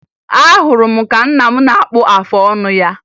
Ahụrụ m ka nna m na-akpụ afọ ọnụ ya